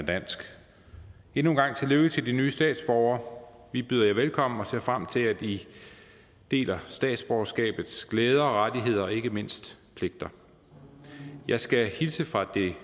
dansk endnu en gang tillykke til de nye statsborgere vi byder jer velkommen og ser frem til at i deler statsborgerskabets glæder og rettigheder og ikke mindst pligter jeg skal hilse fra det